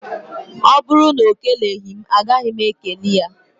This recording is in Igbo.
Ọ bụrụ na ọ keleghi m, a gaghị m e kele ya.